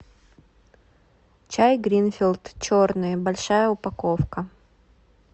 чай гринфилд черный большая упаковка